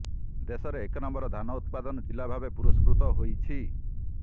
ଦେଶରେ ଏକ ନମ୍ବର ଧାନ ଉତ୍ପାଦନ ଜିଲ୍ଲା ଭାବେ ପୁରସ୍କୃତ ହୋଇଛି